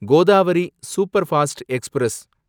Godavari superfast express